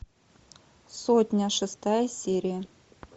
сотня шестая серия